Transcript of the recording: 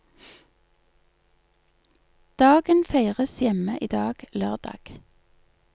Dagen feires hjemme i dag, lørdag.